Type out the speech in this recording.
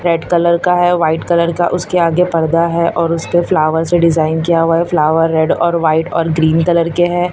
Red colour का है white colour का उसके आगे पर्दा है और उसके फ्लावर से डिजाइन किया हुआ है फ्लावर रेड और वाइट और ग्रीन कलर के हैं।